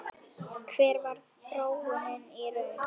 Hver varð þróunin í raun?